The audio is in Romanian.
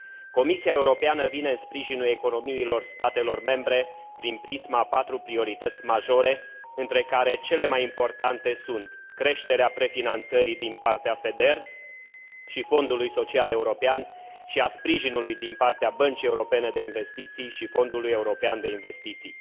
Comisia Europeană vine în sprijinul economiilor statelor membre prin prisma a patru priorități majore, între care cele mai importante sunt creșterea prefinanțării din partea FEDER și Fondului Social European și a sprijinului din partea Băncii Europene de Investiții și Fondului European de Investiții.